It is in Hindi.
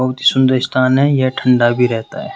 बहुत सुंदर स्थान है। यह ठंडा भी रहता है।